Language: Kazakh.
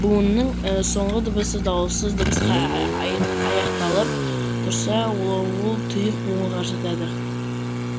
буынның соңғы дыбысы дауыссыз дыбысқа ай ай айақталып тұрса ол ол тұйық бұуынға жатады